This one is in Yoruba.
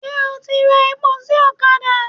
Ṣé o ti ra epo sí ọ̀kadà?